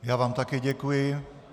Já vám také děkuji.